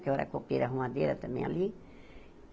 Que eu era copeira, arrumadeira também ali.